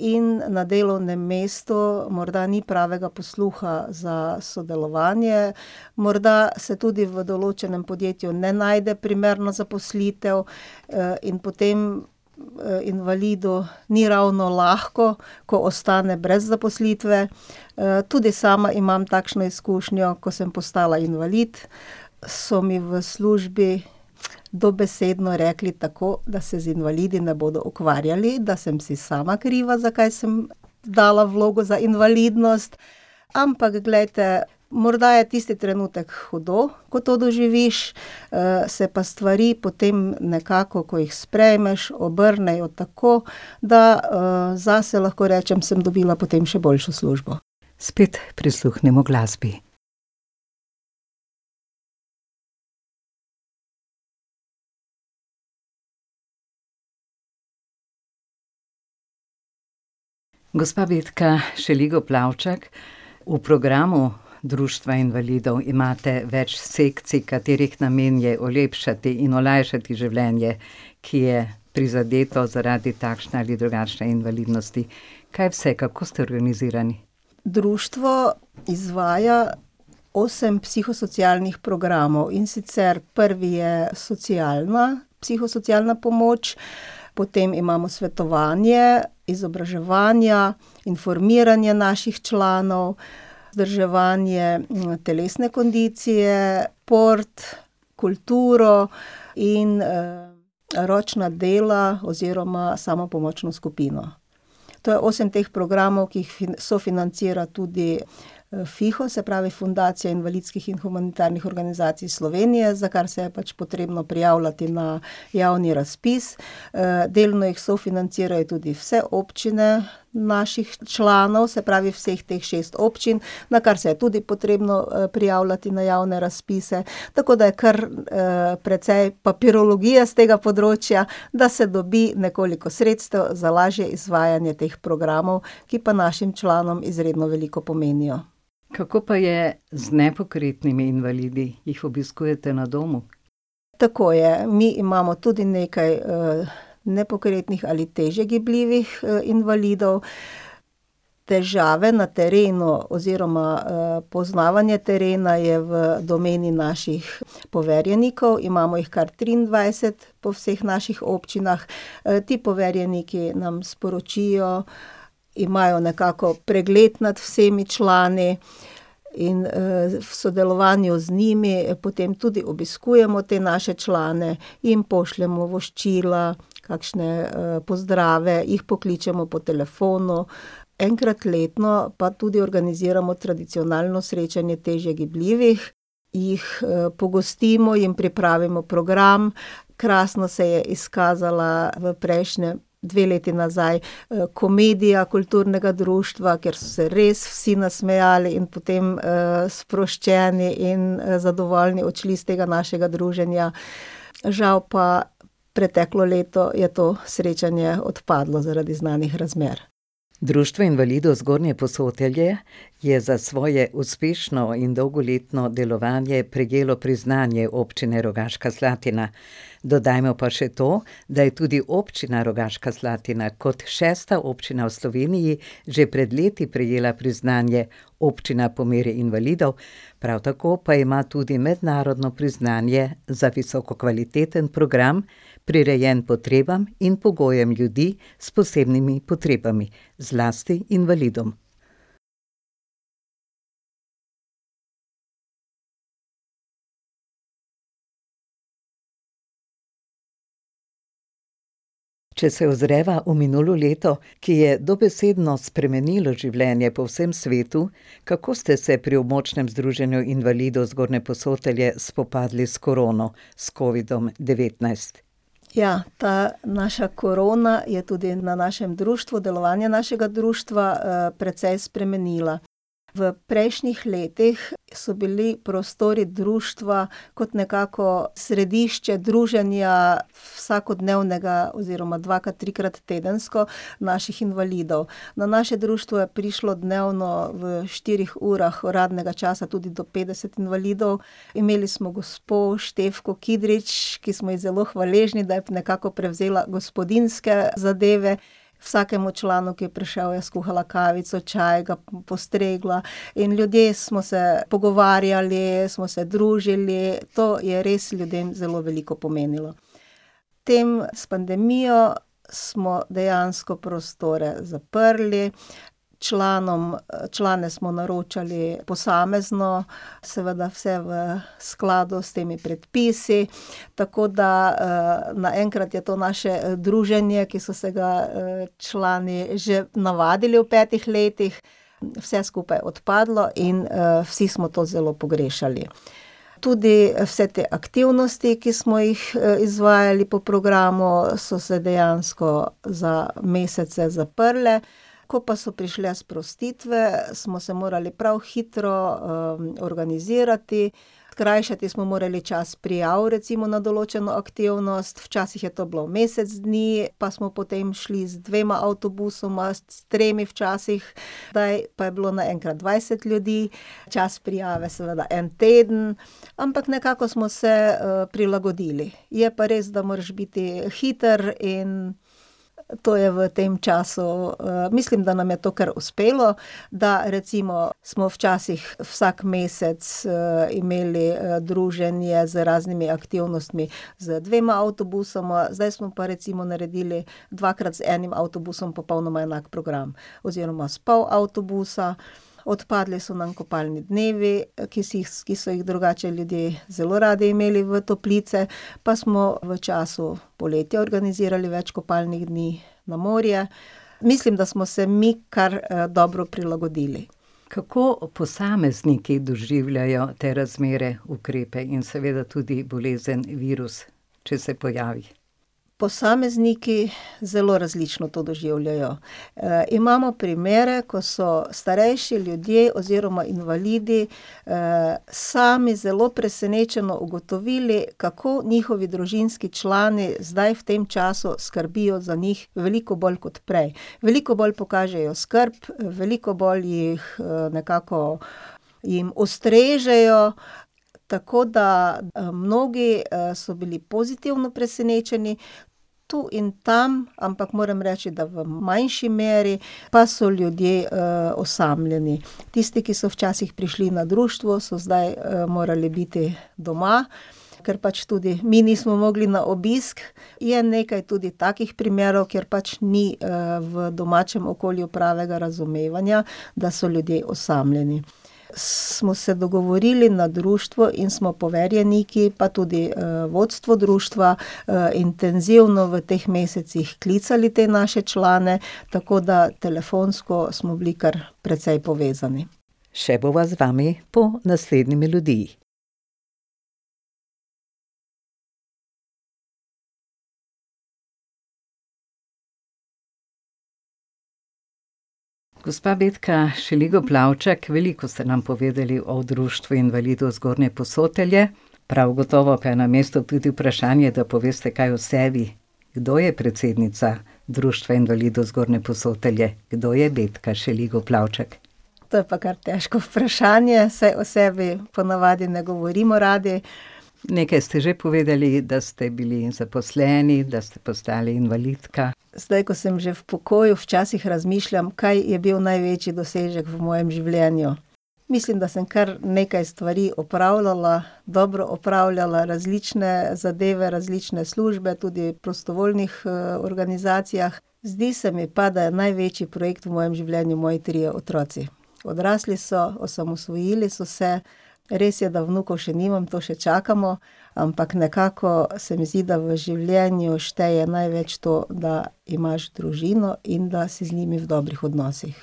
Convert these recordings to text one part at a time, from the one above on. in na delovnem mestu morda ni pravega posluha za sodelovanje. Morda se tudi v določenem podjetju ne najde primerna zaposlitev, in potem, invalidu ni ravno lahko, ko ostane brez zaposlitve. tudi sama imam takšno izkušnjo, ko sem postala invalid, so mi v službi dobesedno rekli tako, da se z invalidi ne bodo ukvarjali, da sem si sama kriva, zakaj sem dala vlogo za invalidnost, ampak glejte, morda je tisti trenutek hudo, ko to doživiš, se pa stvari potem nekako, ko jih sprejmeš, obrnejo tako, da, zase lahko rečem, sem dobila potem še boljšo službo. Spet prisluhnimo glasbi. Gospa Betka Šeligo Plavčak, v programu Društva invalidov imate več sekcij, katerih namen je olepšati in olajšati življenje, ki je prizadeto zaradi takšne ali drugačne invalidnosti. Kaj vse, kako ste organizirani? Društvo izvaja osem psihosocialnih programov, in sicer prvi je socialna psihosocialna pomoč, potem imamo svetovanje, izobraževanja, informiranje naših članov, vzdrževanje, telesne kondicije, šport, kulturo in, ročna dela oziroma samopomočno skupino. To je osem teh programov, ki jih sofinancira tudi, Fiho, se pravi Fundacija invalidskih in humanitarnih organizacij Slovenije, za kar se je pač potrebno prijavljati na javni razpis, delno jih sofinancirajo tudi vse občine naših članov, se pravi vseh teh šest občin, na kar se je tudi potrebno, prijavljati na javne razpise, tako da je kar, precej papirologije s tega področja, da se dobi nekoliko sredstev za lažje izvajanje teh programov, ki pa našim članom izredno veliko pomenijo. Kako pa je z nepokretnimi invalidi? Jih obiskujete na domu? Tako je. Mi imamo tudi nekaj, nepokretnih ali težje gibljivih, invalidov. Težave na terenu oziroma, poznavanje terena je v domeni naših poverjenikov, imamo jih kar triindvajset po vseh naših občinah. ti poverjeniki nam sporočijo, imajo nekako pregled nad vsemi člani in, v sodelovanju z njimi potem tudi obiskujemo te naše člane, jim pošljemo voščila, kakšne, pozdrave, jih pokličemo po telefonu. Enkrat letno pa tudi organiziramo tradicionalno srečanje težje gibljivih, jih, pogostimo, jim pripravimo program. Krasno se je izkazala v prejšnjem, dve leti nazaj, komedija kulturnega društva, ker so se res vsi nasmejali in potem, sproščeni in zadovoljni odšli s tega našega druženja. Žal pa preteklo leto je to srečanje odpadlo zaradi znanih razmer. Društvo invalidov Zgornje Posotelje je za svoje uspešno in dolgoletno delovanje prejelo priznanje Občine Rogaška Slatina. Dodajmo pa še to, da je tudi Občina Rogaška Slatina kot šesta občina v Sloveniji že pred leti prejela priznanje občina po meri invalidov. Prav tako pa ima tudi mednarodno priznanje za visoko kvaliteten program, prirejen potrebam in pogojem ljudi s posebnimi potrebami, zlasti invalidom. Če se ozreva v minulo leto, ki je dobesedno spremenilo življenje po vsem svetu, kako ste se pri Območnem združenju invalidov Zgornje Posotelje spopadli s korono, s covidom-devetnajst? Ja, ta naša korona je tudi na našem društvu, delovanje našega društva, precej spremenila. V prejšnjih letih so bili prostori društva kot nekako središče druženja vsakodnevnega oziroma dvakrat, trikrat tedensko naših invalidov. Na naše društvo je prišlo dnevno v štirih urah uradnega časa tudi do petdeset invalidov. Imeli smo gospo [ime in priimek] , ki smo ji zelo hvaležni, da je nekako prevzela gospodinjske zadeve. Vsakemu članu, ki je prišel, je skuhala kavico, čaj, ga postregla in ljudje smo se pogovarjali, smo se družili. To je res ljudem zelo veliko pomenilo. Tem s pandemijo smo dejansko prostore zaprli, članom, člane smo naročali posamezno, seveda vse v skladu s temi predpisi, tako da, naenkrat je to naše druženje, ki so se ga, člani že navadili v petih letih, vse skupaj odpadlo in, vsi smo to zelo pogrešali. Tudi vse te aktivnosti, ki smo jih izvajali po programu, so se dejansko za mesece zaprle, ko pa so prišle sprostitve, smo se morali prav hitro, organizirati. Skrajšati smo morali čas prijav recimo na določeno aktivnost, včasih je bilo to mesec dni pa smo potem šli z dvema avtobusoma, s tremi včasih, kdaj pa je bilo naenkrat dvajset ljudi, čas prijave seveda en teden, ampak nekako smo se, prilagodili, je pa res, da moraš biti hiter in to je v tem času, mislim, da nam je to kar uspelo, da recimo smo včasih vsak mesec, imeli, druženje z raznimi aktivnostmi z dvema avtobusoma, zdaj pa smo recimo naredili dvakrat z enim avtobusom popolnoma enak program oziroma s pol avtobusa. Odpadli so nam kopalni dnevi, ki si jih, ki so jih drugače ljudje zelo radi imeli v toplice, pa smo v času poletja organizirali več kopalnih dni na morje. Mislim, da smo se mi kar, dobro prilagodili. Kako posamezniki doživljajo te razmere, ukrepe in seveda tudi bolezen, virus, če se pojavi? Posamezniki zelo različno to doživljajo. imamo primere, ko so starejši ljudje oziroma invalidi, sami zelo presenečeno ugotovili, kako njihovi družinski člani zdaj v tem času skrbijo za njih veliko bolj kot prej. Veliko bolj pokažejo skrb, veliko bolj jih, nekako, jim ustrežejo, tako da mnogi, so bili pozitivno presenečeni. Tu in tam, ampak moram reči, da v manjši meri pa so ljudje, osamljeni. Tisti, ki so včasih prišli na društvo, so zdaj, morali biti doma, ker pač tudi mi nismo mogli na obisk. Je nekaj tudi takih primerov, kjer pač ni, v domačem okolju pravega razumevanja, da so ljudje osamljeni. Smo se dogovorili na društvu in smo poverjeniki pa tudi vodstvo društva, intenzivno v teh mesecih klicali te naše člane, tako da telefonsko smo bili kar precej povezani. Še bova z vami po naslednji melodiji. Gospa Betka Šeligo Plavčak, veliko ste nam povedali o Društvu invalidov Zgornje Posotelje, prav gotovo pa je na mestu tudi vprašanje, da poveste kaj o sebi. Kdo je predsednica Društva invalidov Zgornje Posotelje? Kdo je Betka Šeligo Plavčak? To je pa kar težko vprašanje, saj o sebi po navadi ne govorimo radi. Nekaj ste že povedali, da ste bili zaposleni, da ste postali invalidka. Zdaj, ko sem že v pokoju, včasih razmišljam, kaj je bil največji dosežek v mojem življenju. Mislim, da sem kar nekaj stvari opravljala, dobro opravljala, različne zadeve, različne službe, tudi v prostovoljnih, organizacijah. Zdi se mi pa, da je največji projekt v mojem življenju moje trije otroci. Odrasli so, osamosvojili so se. Res je, da vnukov še nimam, to še čakamo, ampak nekako se mi zdi, da v življenju šteje največ to, da imaš družino in da si z njimi v dobrih odnosih.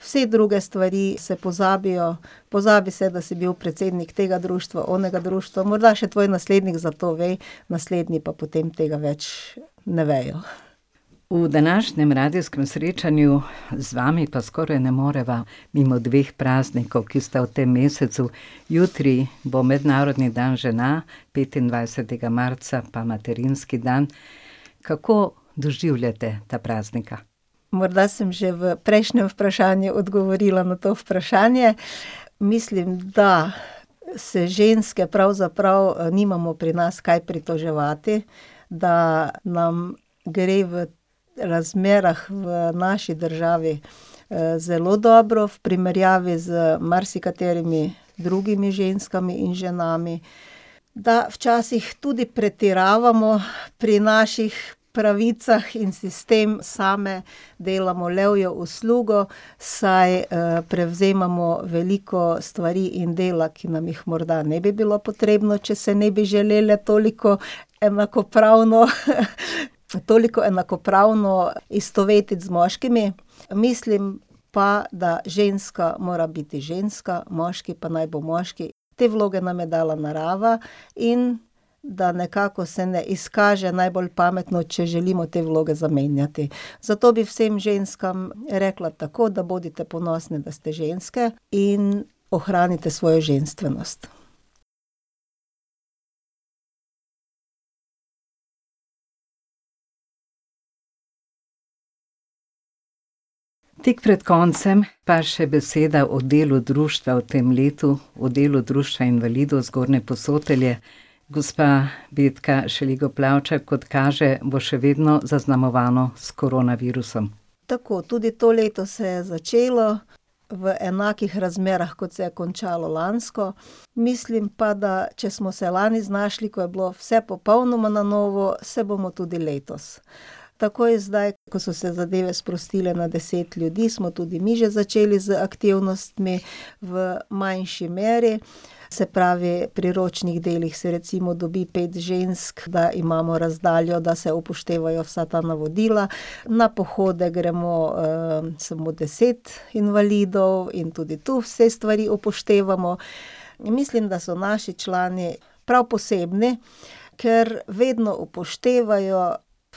Vse druge stvari se pozabijo. Pozabi se, da si bil predsednik tega društva, onega društva, morda še tvoj naslednik za to ve, naslednji pa potem tega več ne vejo. V današnjem radijskem srečanju z vami pa skoraj ne moreva mimo dveh praznikov, ki sta v tem mesecu. Jutri bo mednarodni dan žena, petindvajsetega marca pa materinski dan. Kako doživljate ta praznika? Morda sem že v prejšnjem vprašanju odgovorila na to vprašanje. Mislim, da se ženske pravzaprav nimamo pri nas kaj pritoževati, da nam gre v razmerah v naši državi, zelo dobro, v primerjavi z marsikaterimi drugimi ženskami in ženami, da včasih tudi pretiravamo pri naših pravicah in si s tem same delamo levjo uslugo, saj, prevzemamo veliko stvari in dela, ki nam jih morda ne bi bilo potrebno, če se ne bi želele toliko enakopravno, toliko enakopravno istovetiti z moškimi. Mislim pa, da ženska mora biti ženska, moški pa naj bo moški, te vloge nam je dala narava, in da nekako se ne izkaže najbolj pametno, če želimo te vloge zamenjati, zato bi vsem ženskam rekla tako, da bodite ponosne, da ste ženske in ohranite svojo ženstvenost. Tik pred koncem pa še beseda o delu društva v tem letu, o delu Društva invalidov Zgornje Posotelje. Gospa Betka Šeligo Plavčak, kot kaže, bo še vedno zaznamovano s koronavirusom. Tako, tudi to leto se je začelo v enakih razmerah, kot se je končalo lansko. Mislim pa, da če smo se lani znašli, ko je bilo vse popolnoma na novo, se bomo tudi letos. Takoj zdaj, ko so se zadeve sprostile na deset ljudi, smo tudi mi že začeli z aktivnostmi v manjši meri. Se pravi, pri ročnih delih se recimo dobi pet žensk, da imamo razdaljo, da se upoštevajo vsa ta navodila, na pohode gremo samo deset invalidov in tudi to vse stvari upoštevamo. Mislim, da so naši člani prav posebni, ker vedno upoštevajo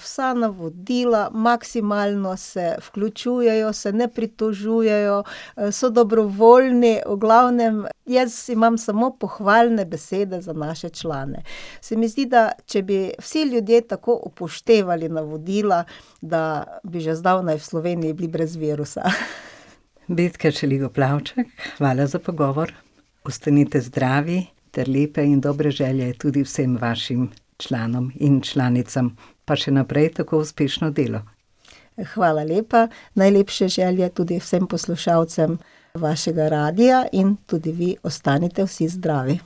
vsa navodila, maksimalno se vključujejo, se ne pritožujejo, so dobrovoljni, v glavnem, jaz imamo samo pohvalne besede za naše člane. Se mi zdi, da če bi vsi ljudje tako upoštevali navodila, da bi že zdavnaj v Sloveniji bili brez virusa. Betka Šeligo Plavčak, hvala za pogovor. Ostanite zdravi ter lepe in dobre želje tudi vsem vašim članom in članicam. Pa še naprej tako uspešno delo. Hvala lepa, najlepše želje tudi vsem poslušalcem vašega radia in tudi vi ostanite vsi zdravi.